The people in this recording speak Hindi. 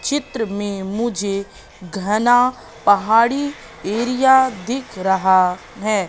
चित्र में मुझे घना पहाड़ी एरिया दिख रहा है।